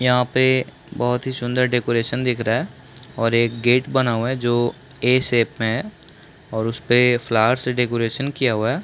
यहाँ पे बहुत ही सुंदर डेकोरेशन दिख रहा है और एक गेट बना हुआ है जो ए शेप में है और उसपे फ्लावर्स से डेकोरेशन किया हुआ हैं।